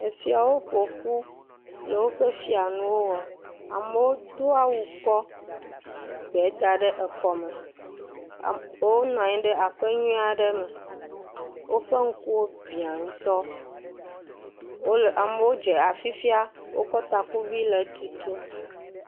Efiawo ƒo ƒu le woƒe fianuwo wɔ. Amewo do awu kɔ egbewo da ɖe ekɔme. Wonɔ anyi ɖe aƒe nyuie aɖe me. Woƒe ŋkuwo biã ŋutɔ. Wole, amewo dze afifia. Woƒe takuviwo le tutum.